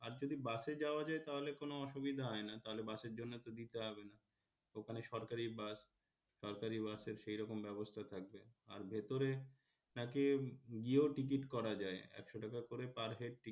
আর যদি বাসে যাওয়া যায় তাহলে কোনও অসুবিধা হয় না তাহলে বাসের জন্যে তো দিতে হবে না ওখানে সরকারি বাস সরকারি বাসের সেরকম ব্যবস্থা থাকবে আর ভেতরে তাকে গিয়েও টিকিট করা যায় একশো টাকা করে per head টিকিট,